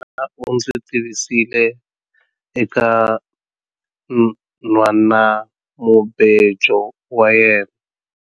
Mina u ndzi tivisile eka nhwanamubejo wa yena.